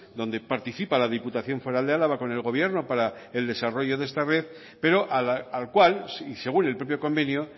donde participa la diputación foral de álava con el gobierno para el desarrollo de esta red pero al cual y según el propio convenio